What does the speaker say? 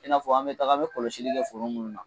I'na fɔ an be taga an be kɔlɔsili kɛ foro munnu na